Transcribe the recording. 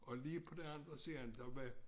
Og lige på den anden side der var